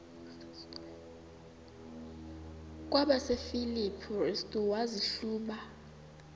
kwabasefilipi restu wazihluba